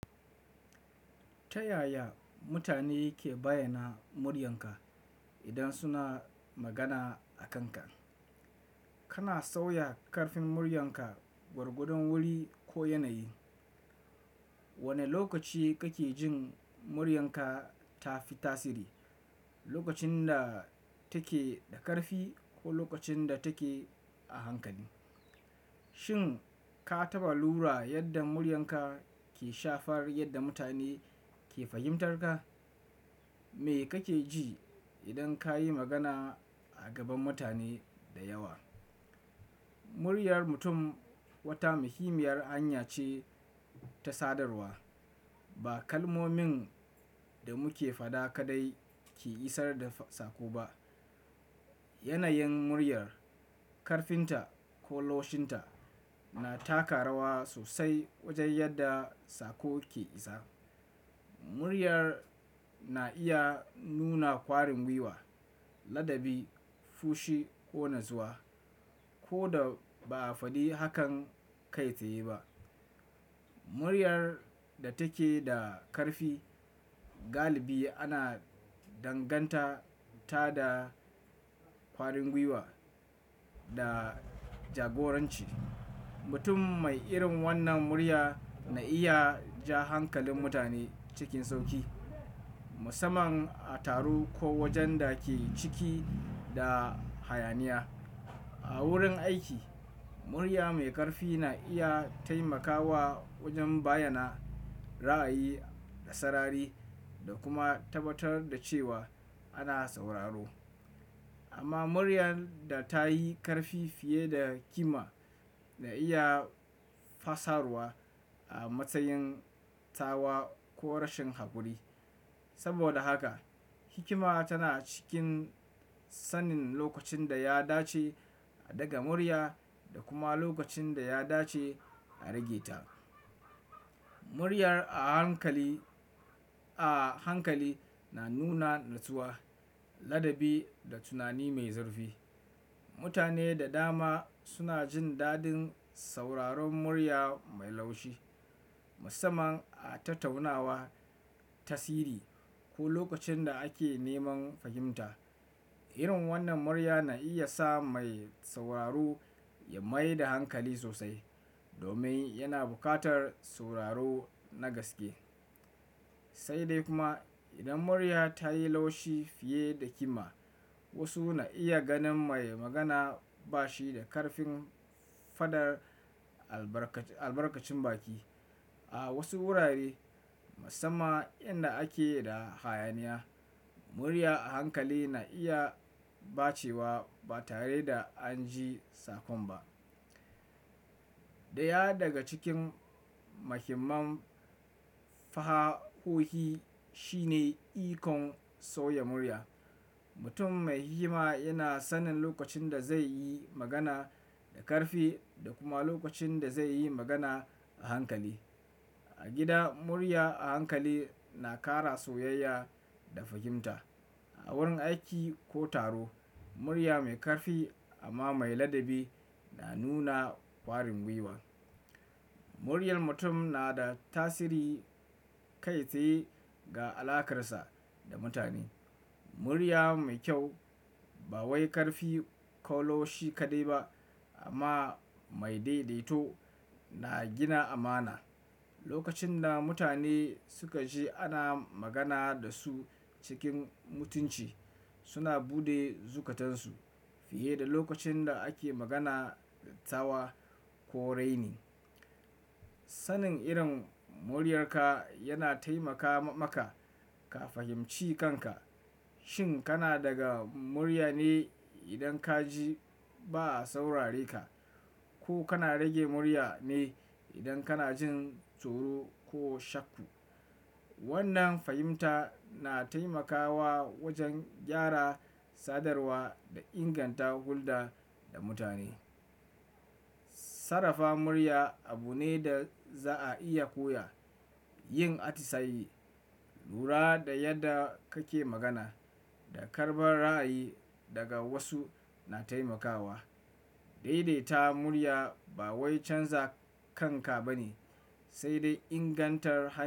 Ta yaya mutane ke bayyana muryarka idan suna magana a kanka? Kana sauya karfin muryarka gwargwadon wuri ko yanayi? Wane lokaci kake jin muryarka ta fi tasiri, lokacin da take da karfi ko lokacin da take a hankali? Shin ka taɓa lura yadda muryarka ke shafar yadda mutane ke fahimtar ka? Me kake ji idan kayi magana a gaban mutane da yawa? Muryar mutum wata muhimmiyar hanya ce ta sadarwa. Ba kalmomin da muke faɗa kaɗai ke isar da sako ba. Yanayin muryar, karfin ta ko laushin ta na taka rawa sosai wajen yadda sako ke isa. Muryar na iya nuna kwarin gwiwa, ladabi, fushi ko natsuwa ko da ba a faɗi hakan kai tsaye ba. Muryar da take da karfi galibi ana danganta ta da kwarin wiwa da jagoranci. Mutum mai irin wannan murya na iya ja hankalin mutane cikin sauƙi, musamman a taro ko wajen da ake ciki da hayaniya. A wurin aiki, murya mai karfi na iya taimakawa wajen bayyana ra'ayi da sarari da kuma tabbatar da cewa ana sauraro. Amma muryar da ta yi karfi fiye da kima na iya fassara a matsayin tsawa ko rashin hakuri. Saboda haka hikima tana cikin sanin lokacin da ya dace a ɗaga murya da kuma lokacin da ya dace a rage ta. Muryar a hankali, a hankali na nuna natsuwa, ladabi da tunani mai zurfi. Mutane da dama suna jin dadin sauraron murya mai laushi, musamman a tattaunawa, tasiri ko lokacin da ake neman fahimta. Irin wannan murya na iya sa mai sauraro ya mai da hankali sosai domin yana buƙatar sauraro na gaske. Sai dai kuma idan murya ta yi laushi fiye da kima, wasu na iya ganin mai magana ba shi da ƙarfin faɗar albarkacin, albarkacin baki. A wasu wurare musamman inda ake da hayaniya, murya a hankali na iya bace wa ba tare da an ji sakon ba. Ɗaya daga cikin muhimman fahohi shi ne ikon sauya murya. Mutum mai hikima yana sanin lokacin da zai yi magana da karfi da kuma lokacin da zai yi magana a hankali. A gida, murya a hankali na ƙara soyayya da fahimta. A wurin aiki ko taro, murya mai karfi amma mai ladabi na nuna kwarin gwiwa. Muryar mutum na da tasiri kai tsaye ga alaƙarsa da mutane. Murya mai kyau, ba wai karfi ko laushi kaɗai ba amma mai daidaito na gina amana. Lokacin da mutane suka ji ana magana da su cikin mutunci, suna buɗe zukatansu fiye da lokacin da ake magana da tawa ko raini. Sanin irin muryarka yana taimaka maka ka fahimci kanka. Shin kana daga murya ne idan ka ji ba a saurareka ko kana rage murya ne idan kana jin tsoro ko shakku? Wannan fahimta na taimakawa wajen gyara sadarwa da inganta hulɗa da mutane. Sarafa murya abu ne da za'a iya koya. Yin atisaye, lura da yadda kake magana da karɓar ra'ayi daga wasu na taimakawa. Daidaita murya ba wai canza kanka bane, sai dai ingantar hanyar.